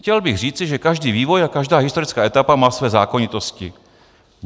Chtěl bych říci, že každý vývoj a každá historická etapa má své zákonitosti.